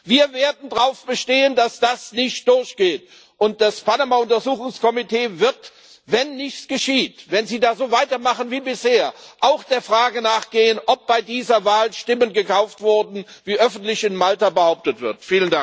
Wir werden darauf bestehen, dass das nicht durchgeht, und das Panama Untersuchungskomitee wird wenn nichts geschieht, wenn Sie da so weitermachen wie bisher auch der Frage nachgehen, ob bei dieser Wahl Stimmen gekauft wurden, wie in Malta öffentlich behauptet wird.